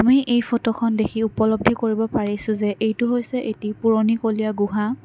মই এই ফটোখন দেখি উপলদ্ধি কৰিব পাৰিছোঁ যে এইটো হৈছে এটি পুৰণিকলীয়া গুহা।